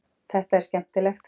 Þetta er skemmtilegt.